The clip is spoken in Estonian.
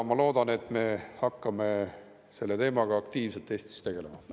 Ma loodan, et me hakkame selle teemaga aktiivselt Eestis tegelema.